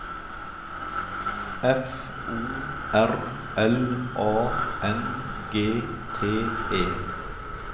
F O R L A N G T E